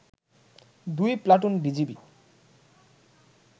দুই platoon BGB